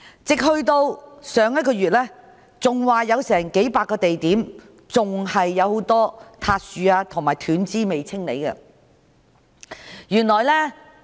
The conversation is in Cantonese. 直至上月，還有數百個地點很多塌樹和斷枝未獲清理。